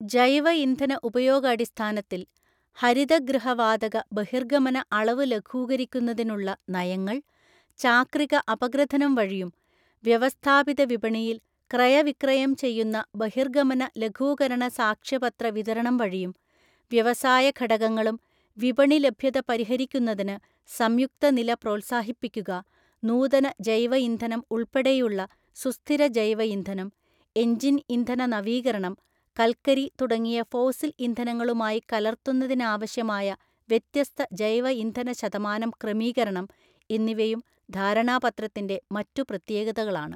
ജൈവ ഇന്ധന ഉപയോഗാടിസ്ഥാനത്തില്‍ ഹരിതഗൃഹവാതക ബഹിര്ഗമന അളവു ലഘൂകരിക്കുന്നതിനുള്ള നയങ്ങള്‍, ചാക്രിക അപഗ്രഥനം വഴിയും, വ്യവസ്ഥാപിതവിപണിയില്‍ ക്രയവിക്രയം ചെയ്യുന്ന ബഹിര്ഗമന ലഘൂകരണസാക്ഷ്യപത്ര വിതരണംവഴിയും, വ്യവസായഘടകങ്ങളും വിപണിലഭ്യത പരിഹരിക്കുന്നതിന് സംയുക്ത നില പ്രോത്സാഹിപ്പിക്കുക, നൂതന ജൈവ ഇന്ധനം ഉള്‍പ്പടെയുള്ള സുസ്ഥിരജൈവ ഇന്ധനം, എന്ജിന്‍ ഇന്ധന നവീകരണം, കല്ക്കരിതുടങ്ങിയ ഫോസില്‍ ഇന്ധനങ്ങളുമായികലര്ത്തുന്നതിനാവശ്യമായ വ്യത്യസ്ത ജൈവ ഇന്ധന ശതമാനം ക്രമീകരണം എന്നിവയും ധാരണാ പത്രത്തിന്‍റെ മറ്റു പ്രത്യേകതകളാണ്.